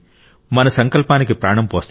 మన సంకల్పానికి ప్రాణం పోస్తాయి